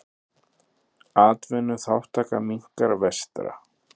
Atvinnuþátttaka minnkar vestra